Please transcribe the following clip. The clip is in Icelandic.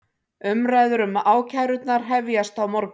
Umræður um ákærurnar hefjast á morgun